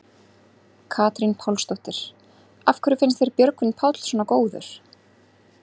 Katrín Pálsdóttir: Af hverju finnst þér Björgvin Páll svona góður?